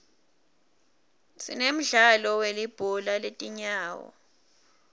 sinemdlalo welibhola letinyawo